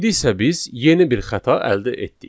İndi isə biz yeni bir xəta əldə etdik.